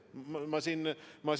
Ma ei eita siin midagi.